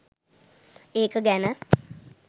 ඒක ගැන